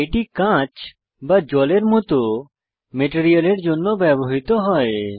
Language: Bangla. এটি কাঁচ বা জলের মত মেটেরিয়ালের জন্য ব্যবহৃত হয়